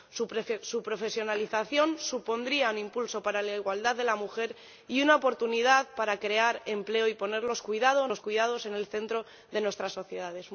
Su profesionalización supondría un impulso para la igualdad de la mujer y una oportunidad para crear empleo y poner los cuidados en el centro de nuestras sociedades.